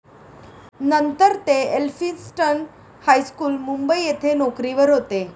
नंतर ते Elphinstone high school, Mumbai येथे नोकरीवर होते.